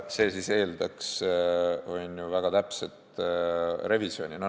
See eeldaks väga täpset revisjoni.